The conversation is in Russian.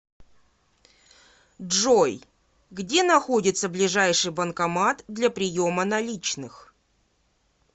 джой где находится ближайший банкомат для приема наличных